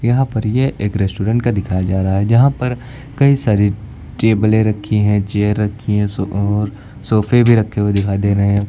यहां पर यह एक रेस्टोरेंट का दिखाया जा रहा है यहां पर कई सारी टेबलें रखी हैं चेयर रखी हैं सो और सोफे भी रखे हुए दिखाई दे रहे हैं।